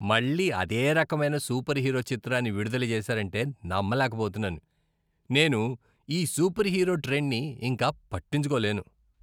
మళ్ళీ అదే రకమైన సూపర్ హీరో చిత్రాన్ని విడుదల చేసారంటే నమ్మలేకపోతున్నాను. నేను ఈ సూపర్హీరో ట్రెండ్ని ఇంక పట్టించుకోలేను.